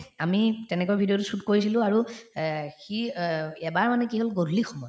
আমি তেনেকুৱা video তো shoot কৰিছিলো আৰু অহ্ সি অহ্ এবাৰ মানে কি হল গধূলি সময়ত